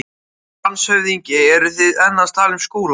LANDSHÖFÐINGI: Eruð þið enn að tala um Skúla?